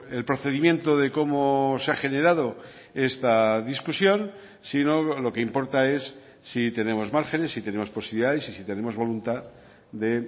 el procedimiento de cómo se ha generado esta discusión sino lo que importa es si tenemos márgenes si tenemos posibilidades y si tenemos voluntad de